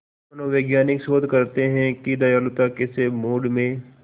मनोवैज्ञानिक शोध करते हैं कि दयालुता कैसे मूड में